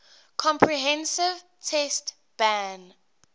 comprehensive test ban